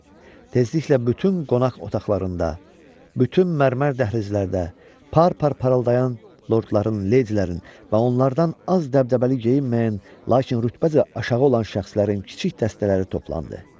Tezliklə bütün qonaq otaqlarında, bütün mərmər dəhlizlərdə parpar parıldayan lordların, leydilərin və onlardan az dəbdəbəli geyinməyən, lakin rütbəcə aşağı olan şəxslərin kiçik dəstələri toplandı.